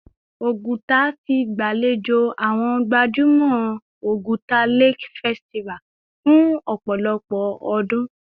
Oguta ti gbalejo awọn gbajumọ Oguta Lake Festival fun opolopo odun